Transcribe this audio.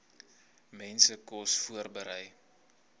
mense kos voorberei